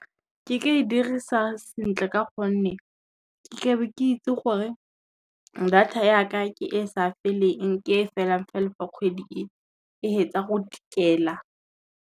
Ke ka e dirisa sentle ka gonne, ke ke be ke itse gore data ya ka ke e sa feleng ke e felang fela fa kgwedi e fetsa go tikela.